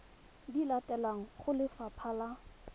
di latelang go lefapha la